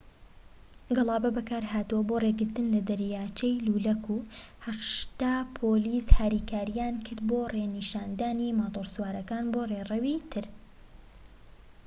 گەڵابە بەکارهاتووە بۆ ڕێگرتن لە دەرچەی لولەکە و ٨٠ پۆلیس هاریکاریان کرد بۆ ڕێنیشاندانی ماتۆرسوارەکان بۆ ڕێڕەوی تر